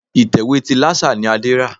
Ìtẹ̀wé ti Lásà ni Adé rà.